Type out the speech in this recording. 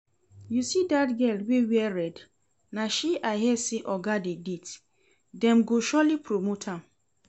You see dat girl wey wear red, na she I hear say oga dey date, dem go surely promote am